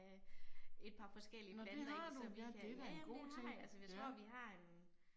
Nåh det har du, ja det er da en god ting, ja